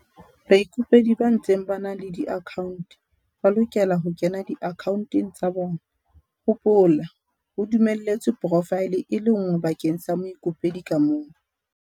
Baikopedi ba ntseng ba na le diakhaonte ba lokela ho kena diakhaonteng tsa bona - hopola, ho dumelletswe porofaele e le nngwe bakeng sa moikopedi ka mong.